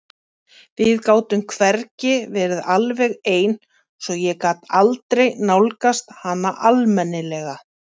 Við gátum hvergi verið alveg ein svo ég gat aldrei nálgast hana almennilega.